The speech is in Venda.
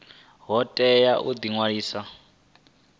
vha tea u ḓi ṅwalisa